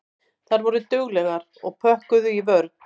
Þær voru duglegar og pökkuðu í vörn.